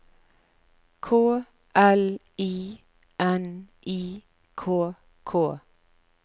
K L I N I K K